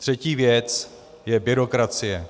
Třetí věc je byrokracie.